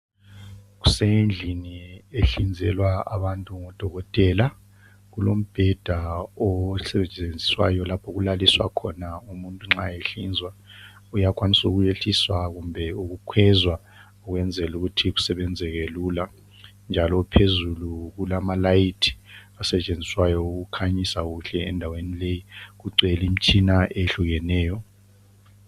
Kusendlini ehlinzelwa abantu ngodokotela. Kulombheda osetshenziswayo lapho okulaliswa khona umuntu nxa ehlinzwa. Uyakwanisa ukuyehliswa kumbe ukukhwezwa ukwenzela ukuthi kusebenzeke lula. Njalo phezulu kulamalayithi asetshenziswayo ukukhanyisa kuhle endaweni leyi. Kugcwele imitshina eyehlukeneyo.